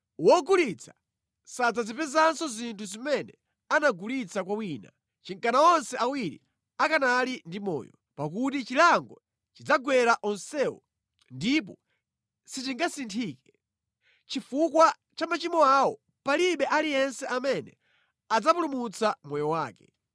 Wogulitsa sadzazipezanso zinthu zimene anagulitsa kwa wina chinkana onse awiri akanali ndi moyo, pakuti chilango chidzagwera onsewo ndipo sichingasinthike. Chifukwa cha machimo awo, palibe aliyense amene adzapulumutsa moyo wake.